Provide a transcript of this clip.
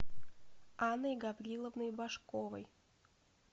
анной гавриловной башковой